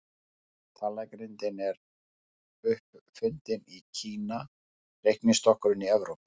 Talnagrindin er upp fundin í Kína, reiknistokkurinn í Evrópu.